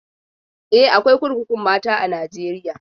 E, akwai kurkukun mata a Najeriya.